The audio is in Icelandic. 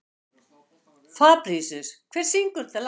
Fabrisíus, hver syngur þetta lag?